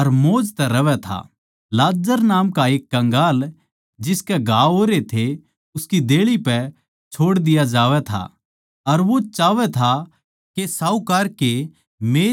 फेर यीशु नै कह्या एक साहूकार माणस था जो बैंजनी अर मलमल के महंगे लत्ते पहरदा अर हरेक दिन असोआराम तै अर मौज तै रहवैं था